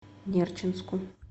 нерчинску